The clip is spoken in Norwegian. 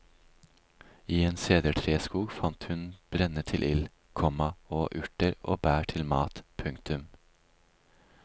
I en sedertreskog fant hun brenne til ild, komma og urter og bær til mat. punktum